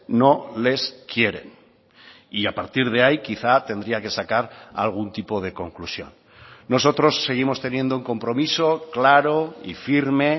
no les quieren y a partir de ahí quizá tendría que sacar algún tipo de conclusión nosotros seguimos teniendo un compromiso claro y firme